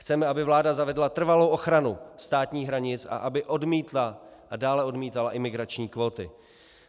Chceme, aby vláda zavedla trvalou ochranu státních hranic a aby odmítla a dále odmítala imigrační kvóty.